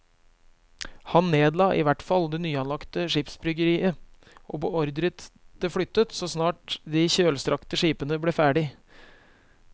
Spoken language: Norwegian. Han nedla i hvert fall det nyanlagte skipsbyggeriet og beordret det flyttet så snart de kjølstrakte skipene ble ferdige.